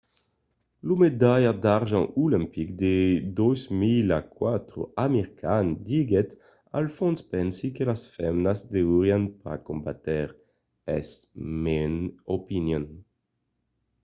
lo medalhat d'argent olimpic de 2004 amir khan diguèt al fons pensi que las femnas deurián pas combatre. es mon opinion.